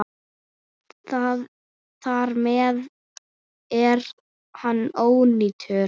Þar með er hann ónýtur.